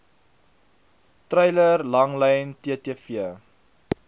treiler langlyn ttv